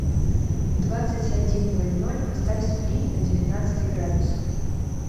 в двадцать один ноль ноль поставь сплит на девятнадцать градусов